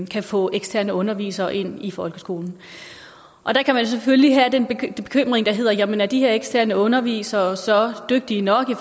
kan få eksterne undervisere ind i folkeskolen og der kan man selvfølgelig have den bekymring der hedder jamen er de her eksterne undervisere så dygtige nok i